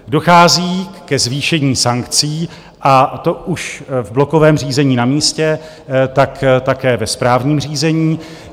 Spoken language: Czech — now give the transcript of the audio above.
Dochází ke zvýšení sankcí, a to už v blokovém řízení na místě, tak také ve správním řízení.